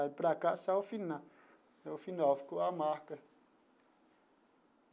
Para cá saiu o final o final, ficou a marca.